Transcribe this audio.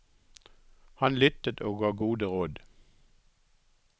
Han lyttet og ga gode råd.